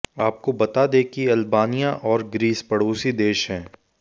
आपको बता दें कि अल्बानिया और ग्रीस पड़ोसी देश हैं